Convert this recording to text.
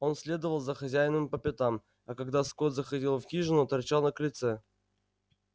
он следовал за хозяином по пятам а когда скотт заходил в хижину торчал на крыльце